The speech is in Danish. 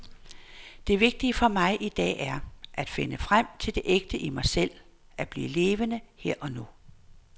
Det vigtige for mig i dag er, at finde ind til det ægte i mig selv, at blive levende her og nu.